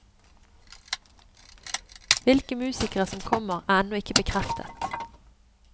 Hvilke musikere som kommer, er ennå ikke bekreftet.